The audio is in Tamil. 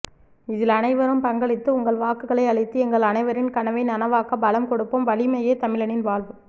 இதில் அனைவரும் பங்களித்து உங்கள் வாக்குகளை அளித்து எங்கள் அனைவரின் கனவை நனவாக்க பலம் கொடுப்போம்வலிமையே தமிழனின் வாழ்வு